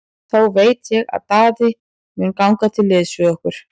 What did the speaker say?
Þá veit ég að Daði mun ganga til liðs við okkur.